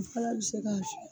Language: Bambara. A fana bi se k'a